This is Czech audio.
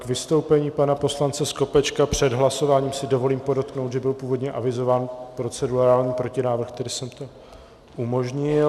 K vystoupení pana poslance Skopečka před hlasováním si dovolím podotknout, že byl původně avizován procedurální protinávrh, tedy jsem to umožnil.